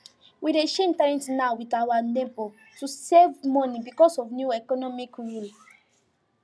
we dey share internet now with our neighbor to save money because of new economic rule